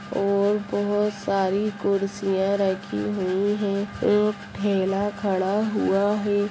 और बहोत सारी कुर्सियां रखी हुई हैं एक ठेला खड़ा हुआ है।